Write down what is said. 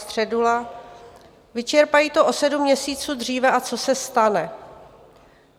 Středula: vyčerpají to o sedm měsíců dříve a co se stane?